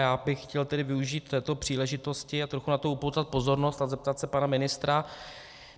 Já bych chtěl tedy využít této příležitosti a trochu na to upoutat pozornost a zeptat se pana ministra.